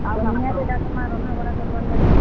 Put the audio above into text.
ରନ୍ଧାବଢା କର୍ ବାର୍ ଲାଗି।